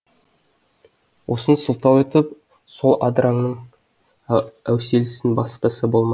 осыны сылтау етіп сол адыраңның әуселесін баспаса болмас